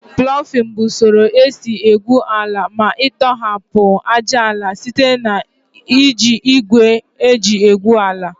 Plọfin bụ usoro esi egwu ala ma ịtọhapụ ájáala site na iji igwe eji egwu ala